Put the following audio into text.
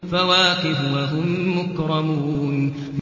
فَوَاكِهُ ۖ وَهُم مُّكْرَمُونَ